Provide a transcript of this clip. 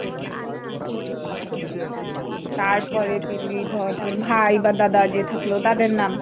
তারপরে দিলি, ধর, তোর ভাই বা দাদা যে থাকলো তাদের নাম।